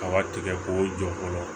Kaba tigɛ k'o jɔ fɔlɔ